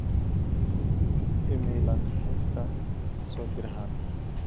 iimayl aan ka haystaa soo dirahan